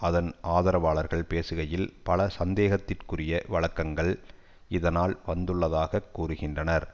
அதன் ஆதரவாளர்கள் பேசுகையில் பல சந்தேகத்திற்குரிய வழக்கங்கள் இதனால் வந்துள்ளதாக கூறுகின்றனர்